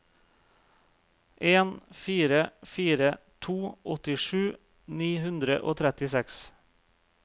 en fire fire to åttisju ni hundre og trettiseks